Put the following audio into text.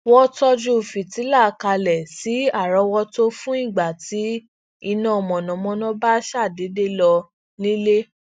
wón tọju fìtílà kalẹ si árọwọtó fun igba ti iná mànàmáná ba ṣadede lọ nílé